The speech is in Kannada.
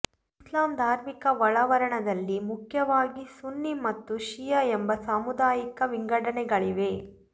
ಇಸ್ಲಾಂ ಧಾರ್ಮಿಕ ಒಳಾವರಣದಲ್ಲಿ ಮುಖ್ಯವಾಗಿ ಸುನ್ನಿ ಮತ್ತು ಷಿಯಾ ಎಂಬ ಸಾಮುದಾಯಿಕ ವಿಂಗಡಣೆಗಳಿವೆ